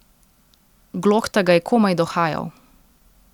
Glokta ga je komaj dohajal.